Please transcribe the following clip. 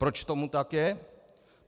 Proč tomu tak je?